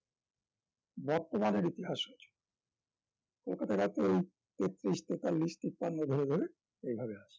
বর্তমানের ইতিহাস রচনা কলকাতার রাতেই তেতত্রিশ, তেতাল্লিশ, তিপান্ন ধরে ধরে এইভাবে আসছেন